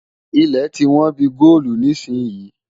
Ilẹ̀ tí wón bí i góòlu nísìnyín.